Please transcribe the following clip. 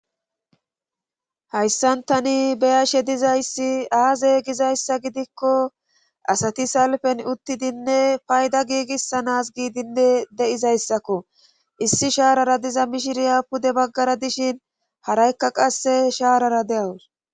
hayssan tani beyashe dizayssi aaze gizayssa gidikko asati salfen uttidinne payda giigissanas giidinde de7izayssakko issi shaarara diza mishiriya pude baggara dishin haraykka qasse shaarara de7awus